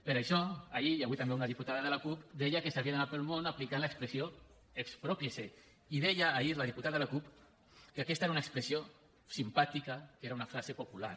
per això ahir i avui també una diputada de la cup deia que s’havia d’anar pel món aplicant l’expressió exprópiese i deia ahir la diputada de la cup que aquesta era una expressió simpàtica que era una frase popular